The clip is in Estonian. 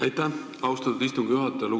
Aitäh, austatud istungi juhataja!